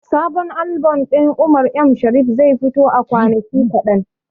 Sabon albom ɗin Umar M Sharif zai fito a kwanaki kaɗan.